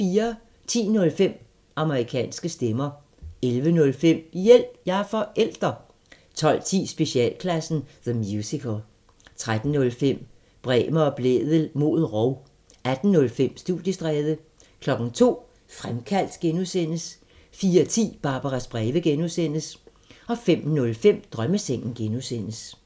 10:05: Amerikanske stemmer 11:05: Hjælp – jeg er forælder! 12:10: Specialklassen – The Musical 13:05: Bremer og Blædel mod rov 18:05: Studiestræde 02:00: Fremkaldt (G) 04:10: Barbaras breve (G) 05:05: Drømmesengen (G)